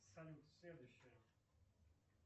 салют следующая